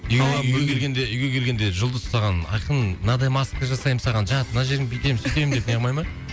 үйге келгенде үйге келгенде жұлдыз саған айқын мынадай маска жасаймын саған жат мына жеріңді бүйтем сөйтем деп неғымай ма